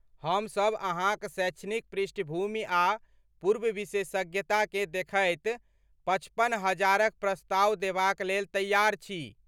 हमसब अहाँक शैक्षणिक पृष्ठभूमि आ पूर्व विशेषज्ञता केँ देखैत पचपन हजारक प्रस्ताव देबाक लेल तैयार छी।